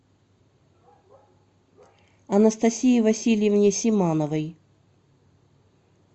анастасии васильевне симановой